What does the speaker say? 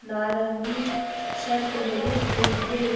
नारंगी शर्ट पहनी हुई है।